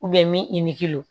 mink'o